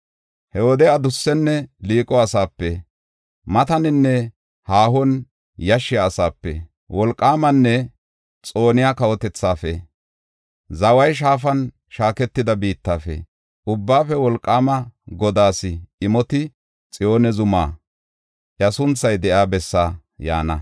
He wode adussenne liiqo asaape, mataninne haahon yashshiya asaape, wolqaamanne xooniya kawotethaafe, zaway shaafan shaaketida biittafe, Ubbaafe Wolqaama Godaas imoti Xiyoone Zumaa, iya sunthay de7iya bessaa yaana.